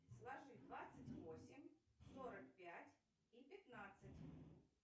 сложи двадцать восемь сорок пять и пятнадцать